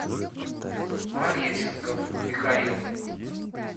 пореченков михаил